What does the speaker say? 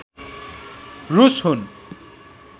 रूस हुन्